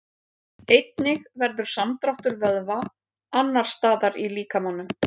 Einnig verður samdráttur vöðva annars staðar í líkamanum.